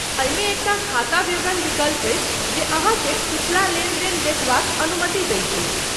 एहिमे एकटा खाता विवरण विकल्प अछि जे अहाँकेँ पिछला लेनदेन देखबाक अनुमति दैत अछि।